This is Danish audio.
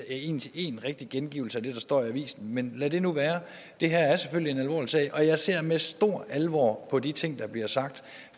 en til en rigtig gengivelse af det der står i avisen men lad det nu være det her er selvfølgelig en alvorlig sag og jeg ser med stor alvor på de ting der bliver sagt